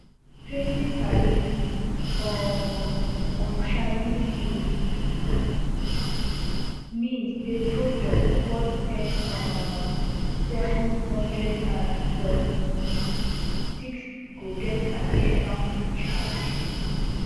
twenty tariff um on chinese goods mean say product worth ten um seven hundred and seventy-six go get additional two charge